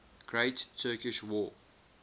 great turkish war